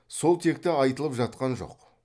сол текті айтылып жатқан жоқ